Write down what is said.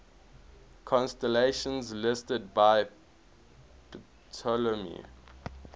constellations listed by ptolemy